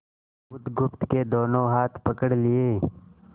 बुधगुप्त के दोनों हाथ पकड़ लिए